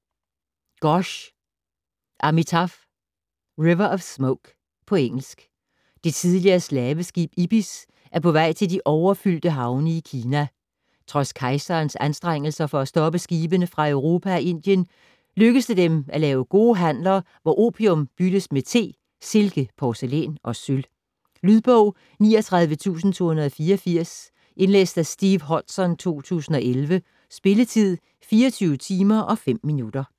Ghosh, Amitav: River of smoke På engelsk. Det tidligere slaveskib, Ibis, er på vej til de overfyldte havne i Kina. Trods kejserens anstrengelser for at stoppe skibene fra Europa og Indien, lykkes det dem af lave gode handler, hvor opium byttes med te, silke, porcelæn og sølv. Lydbog 39284 Indlæst af Steve Hodson, 2011. Spilletid: 24 timer, 5 minutter.